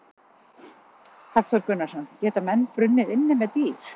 Hafþór Gunnarsson: Geta menn brunnið inni með dýr?